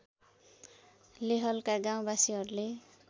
लेहलका गाउँवासीहरूले